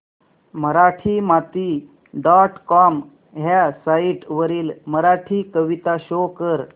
Marathimati dot com ह्या site वरील मराठी कविता शो कर